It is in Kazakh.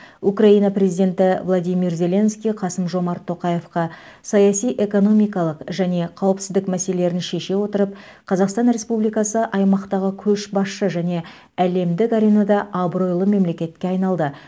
украина президенті владимир зеленский қасым жомарт тоқаевқа саяси экономикалық және қауіпсіздік мәселелерін шеше отырып қазақстан республикасы аймақтағы көшбасшы және әлемдік аренада абыройлы мемлекетке айналды